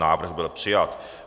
Návrh byl přijat.